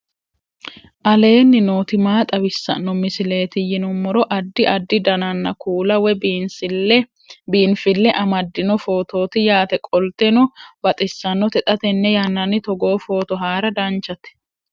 aleenni nooti maa xawisanno misileeti yinummoro addi addi dananna kuula woy biinfille amaddino footooti yaate qoltenno baxissannote xa tenne yannanni togoo footo haara danchate